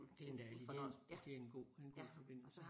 Det en dejlig én det en god en god forbindelse